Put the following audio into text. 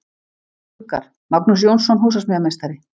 Gluggar: Magnús Jónsson, húsasmíðameistari.